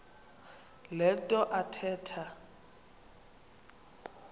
le nto athetha